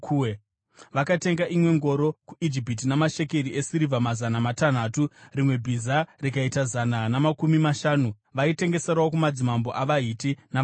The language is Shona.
Vakatenga imwe ngoro kuIjipiti namashekeri esirivha mazana matanhatu , rimwe bhiza rikaita zana namakumi mashanu . Vaitengeserawo kumadzimambo avaHiti navaAramu.